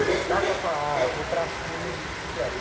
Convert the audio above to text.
Não dá para falar, ah, eu vou para a China de bicicleta.